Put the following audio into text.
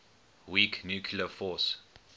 weak nuclear force